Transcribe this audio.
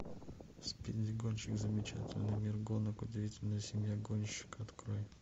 спиди гонщик замечательный мир гонок удивительная семья гонщика открой